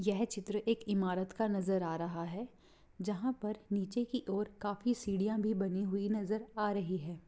यह चित्र एक इमारत का नजर आ रहा है जहां पर नीचे की ओर काफी सीढ़ियां भी बनी हुई नजर आ रही है।